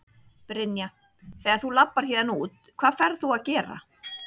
Brynja: Þegar þú labbar héðan út, hvað ferð þú að gera?